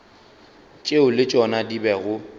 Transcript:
tšeo le tšona di bego